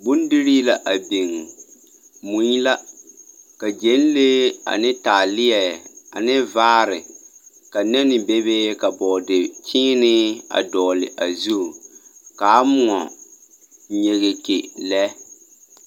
Bondirii a biŋ, mui la ka gyԑnlee ane taaleԑ ane vaare, ka nԑne bebe bͻͻde-kyeenee a dogele a zu kaa mõͻ nyegeke lԑ.